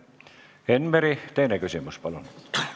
Enn Meri, teine küsimus, palun!